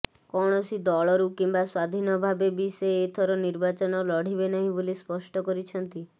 କୌଣସି ଦଳରୁ କିମ୍ବା ସ୍ବାଧୀନ ଭାବେ ବି ସେ ଏଥର ନିର୍ବାଚନ ଲଢ଼ିବେ ନାହିଁ ବୋଲି ସ୍ପଷ୍ଟ କରିଛନ୍ତି